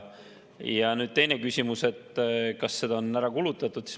Ja teine küsimus, kas seda on juba kulutatud.